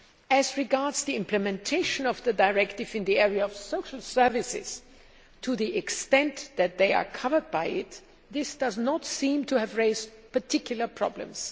As regards the implementation of the directive in the area of social services to the extent that they are covered by it this does not seem to have raised particular problems.